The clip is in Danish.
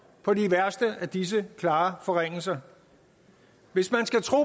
på de værste af disse klare forringelser hvis man skal tro